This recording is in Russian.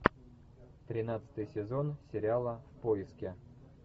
тринадцатый сезон сериала в поиске